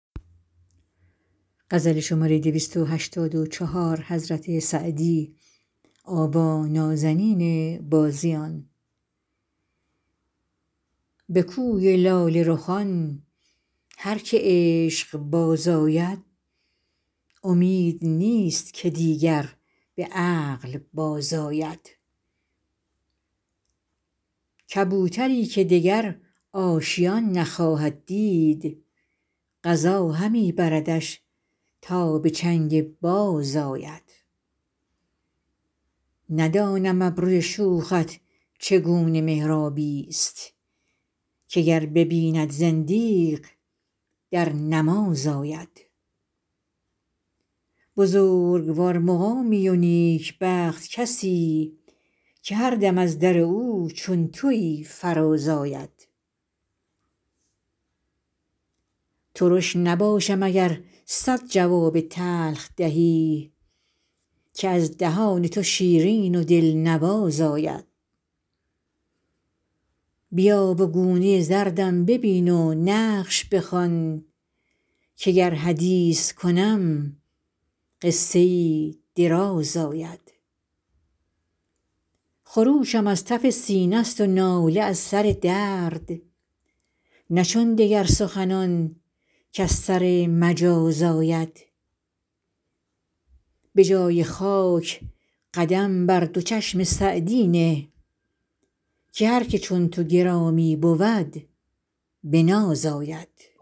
به کوی لاله رخان هر که عشق باز آید امید نیست که دیگر به عقل بازآید کبوتری که دگر آشیان نخواهد دید قضا همی بردش تا به چنگ باز آید ندانم ابروی شوخت چگونه محرابی ست که گر ببیند زندیق در نماز آید بزرگوار مقامی و نیکبخت کسی که هر دم از در او چون تویی فراز آید ترش نباشم اگر صد جواب تلخ دهی که از دهان تو شیرین و دلنواز آید بیا و گونه زردم ببین و نقش بخوان که گر حدیث کنم قصه ای دراز آید خروشم از تف سینه ست و ناله از سر درد نه چون دگر سخنان کز سر مجاز آید به جای خاک قدم بر دو چشم سعدی نه که هر که چون تو گرامی بود به ناز آید